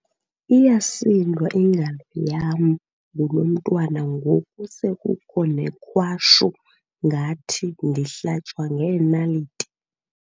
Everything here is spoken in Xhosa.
Iyasindwa ingalo yam ngulo mntwana ngoku sekukho nekwashu ngathi ndihlatywa ngeenaliti.